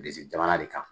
Bilisi jamana de kan